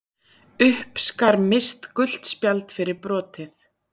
Uppskar Mist gult spjald fyrir brotið.